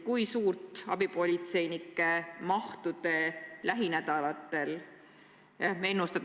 Kui suurt abipolitseinikute arvu te lähinädalateks ennustate?